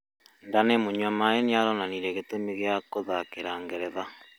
Danny mũnywamaĩ nĩaronanĩrĩe gĩtũmĩ gĩa gũthakĩra Ngeretha